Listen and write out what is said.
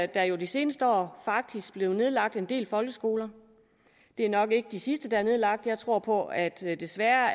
der jo de seneste år faktisk blevet nedlagt en del folkeskoler det er nok ikke de sidste der er nedlagt jeg tror på at vi desværre